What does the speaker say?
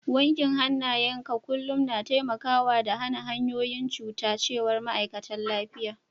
Wankin hanayen ka kullum na taimaka da hana kwayoyin cuta, ma'aikatan lafiya sun ce.